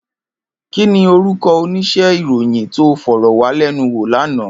Kini órúkò óníṣè iróyin tó fòròwàwálènúwó làná